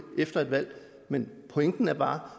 efter et valg men pointen er bare